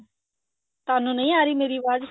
ਤੁਹਾਨੂੰ ਨਹੀਂ ਆ ਰਹੀ ਮੇਰੀ ਆਵਾਜ਼